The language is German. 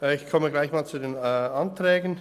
Ich komme gleich zu den Anträgen.